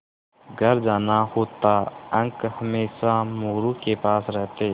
घर जाना होता अंक हमेशा मोरू के पास रहते